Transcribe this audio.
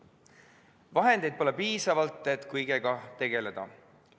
Vahendeid pole piisavalt, et kõigega tegeleda.